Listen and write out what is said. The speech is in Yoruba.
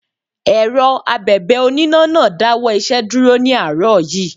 Èrọ Abẹ̀bẹ̀ oníná náà dáwọ́ iṣẹ́ dúró ní àárọ̀ yí.